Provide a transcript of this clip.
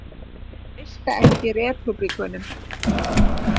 Treysta ekki repúblikönum